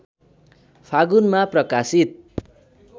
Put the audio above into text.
फागुनमा प्रकाशित